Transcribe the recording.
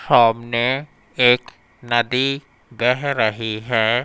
सामने एक नदी बह रही है।